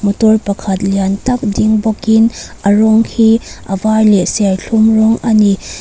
motor pakhat lian tak ding bawkin a rawng hi a var leh serthlum rawng a ni.